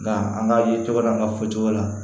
Nka an ka ye tɔgɔ n'an ka fɔcogo la